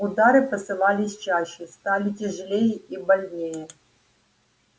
удары посыпались чаще стали тяжелее и больнее